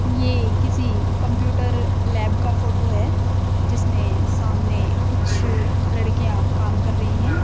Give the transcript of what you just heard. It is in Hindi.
ये किसी कंप्यूटर लैब का फोटो है जिसमें सामने कुछ लड़कियां काम कर रई है।